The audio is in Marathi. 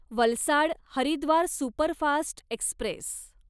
Valsad Haridwar superfast Express